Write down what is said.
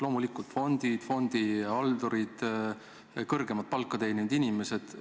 Loomulikult: fondid, fondihaldurid, kõrgemat palka teeninud inimesed.